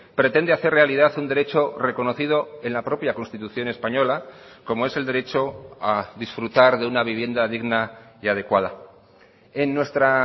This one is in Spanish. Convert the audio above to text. pretende hacer realidad un derecho reconocido en la propia constitución española como es el derecho a disfrutar de una vivienda digna y adecuada en nuestra